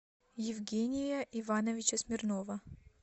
евгения ивановича смирнова